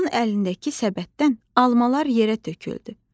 Onun əlindəki səbətdən almalar yerə töküldü.